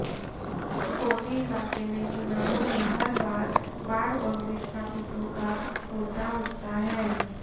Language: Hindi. कोसी इलाके में चुनावों में हर बार बाढ़ और विस्थापितों का मुद्दा उठता है